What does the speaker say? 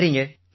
நன்றிங்க